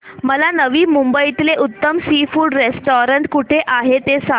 मला नवी मुंबईतलं उत्तम सी फूड रेस्टोरंट कुठे आहे ते सांग